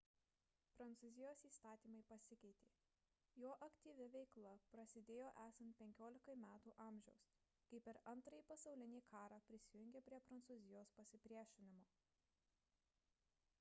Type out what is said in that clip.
prancūzijos įstatymai pasikeitė jo aktyvi veikla prasidėjo esant 15 metų amžiaus kai per ii pasaulinį karą prisijungė prie prancūzijos pasipriešinimo